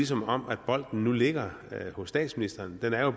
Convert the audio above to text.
som om bolden ligger hos statsministeren den er